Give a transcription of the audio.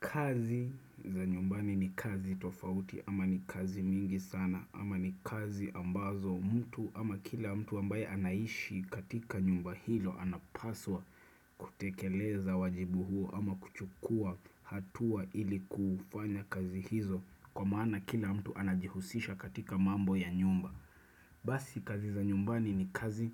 Kazi za nyumbani ni kazi tofauti ama ni kazi mingi sana ama ni kazi ambazo mtu ama kila mtu ambaye anaishi katika nyumba hilo anapaswa kutekeleza wajibu huo ama kuchukua hatua ili kufanya kazi hizo kwa maana kila mtu anajihusisha katika mambo ya nyumba. Basi kazi za nyumbani ni kazi